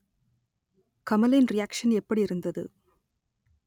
கமலின் reaction எப்படியிருந்தது